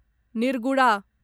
निर्गुडा